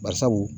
Bari sabu